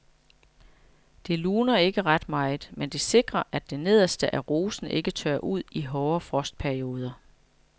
Det luner ikke ret meget, men det sikrer at det nederste af rosen ikke tørrer ud i hårde frostperioder.